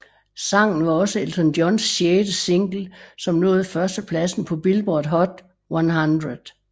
Sangen var også Elton Johns sjette single som nåede førstepladsen på Billboard Hot 100